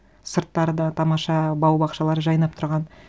сырттары да тамаша бау бақшалары жайнап тұрған